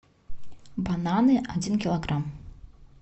бананы один килограмм